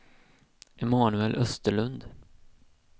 Emanuel Österlund